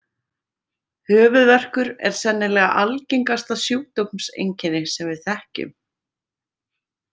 Höfuðverkur er sennilega algengasta sjúkdómseinkenni sem við þekkjum.